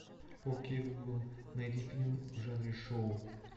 окей гугл найди фильм в жанре шоу